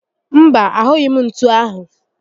Mba, ahụghị m ntú áhụ̀